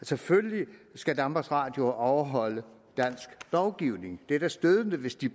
selvfølgelig skal danmarks radio overholde dansk lovgivning det er da stødende hvis de